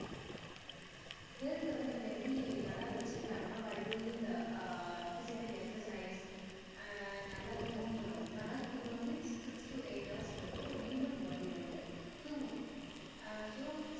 health வந்து நம்ம எப்ப்டி நல்லா வச்சிக்கலாம்னா by doing physical exercise ஆஹ் நல்லா தூங்கணும் நல்லா தூங்கணும் means six to eight hours க்கு வந்து ஒரு human body வந்து தூங்கணும் ஆஹ் so